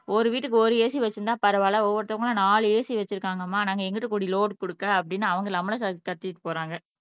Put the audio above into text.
ஒரு வீட்டுக்கு ஒரு AC வச்சிருந்தா பரவாயில்லை ஒவ்வொருத்தங்களும் நாலு AC வச்சிருக்காங்கம்மா நாங்க எங்கிட்டு கூடி லோடு குடுக்க அப்படின்னு அவங்க நம்மளுக்கு க கத்திட்டு போறாங்க